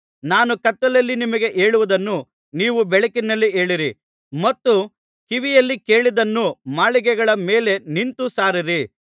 ನಾನು ಕತ್ತಲಲ್ಲಿ ನಿಮಗೆ ಹೇಳುವುದನ್ನು ನೀವು ಬೆಳಕಿನಲ್ಲಿ ಹೇಳಿರಿ ಮತ್ತು ಕಿವಿಯಲ್ಲಿ ಕೇಳಿದ್ದನ್ನು ಮಾಳಿಗೆಗಳ ಮೇಲೆ ನಿಂತು ಸಾರಿರಿ